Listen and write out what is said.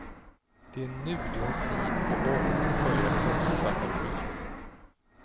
Det är nu du har tid och ork att börja ett hälsosammare liv.